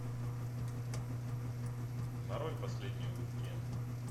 нарой последний уик энд